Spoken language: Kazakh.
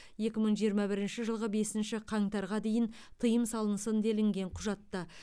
екі мың жиырма бірінші жылғы бесінші қаңтарға дейін тыйым салынсын делінген құжатта